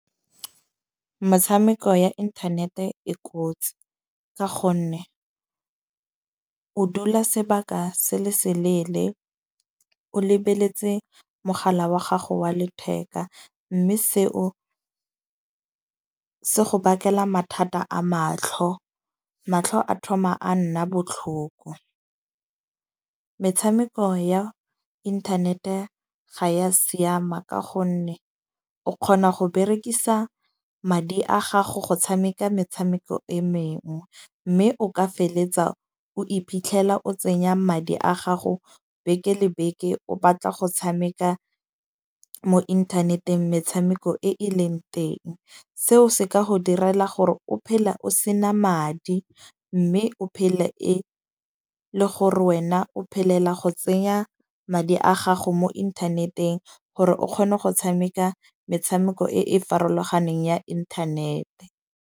Metshameko ya internet-e e kotsi. Ka gonne o dula sebaka se le seleele o lebeletse mogala wa gago wa letheka. Mme seo se go bakela mathata a matlho. Matlho a thoma a nna botlhoko. Metshameko ya internet-e ga ya siama. Ka gonne o kgona go berekisa madi a gago go tshameka metshameko e mengwe. Mme o ka feletsa o iphitlhela o tsenya madi a gago beke le beke o batla go tshameka mo inthaneteng, metshameko e e leng teng. Seo se ka go direla gore o phele o sena madi. Mme o phele le gore wena o phelela go tsenya madi a gago mo inthaneteng, gore o kgone go tshameka metshameko e e farologaneng ya inthanete.